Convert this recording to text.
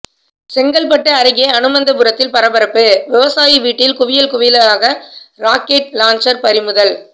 செங்கல்பட்டு அருகே அனுமந்தபுரத்தில் பரபரப்பு விவசாயி வீட்டில் குவியல் குவியலாக ராக்கெட் லாஞ்சர் பறிமுதல்